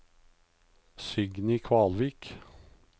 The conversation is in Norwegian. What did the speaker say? Signy Kvalvik